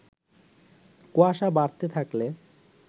কুয়াশা বাড়তে থাকলে